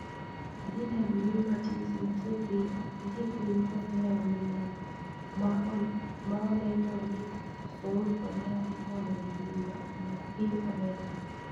Bw Mattis ntie piny Korea ma milambo maoneno ni Seoul Korea ikonyo gi piny amerika